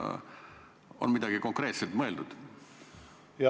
Kas on midagi konkreetselt mõeldud?